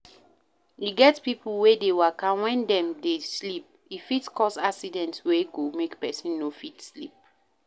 E get pipo wey dey waka when dem dey sleep, e fit cause accident wey go make person no fit sleep